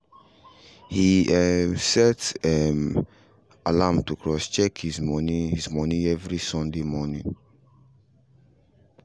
he um set um alarm to cross check his money his money every sunday morning